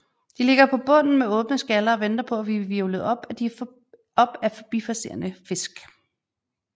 De ligger på bunden med åbne skaller og venter på at blive hvirvlet op af forbipasserende fisk